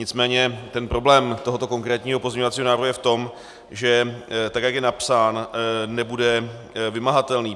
Nicméně ten problém tohoto konkrétního pozměňovacího návrhu je v tom, že tak jak je napsán, nebude vymahatelný.